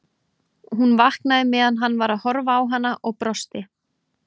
Hún vaknaði meðan hann var að horfa á hana og brosti.